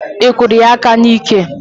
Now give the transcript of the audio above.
Ị kụrụ ya aka n'iké?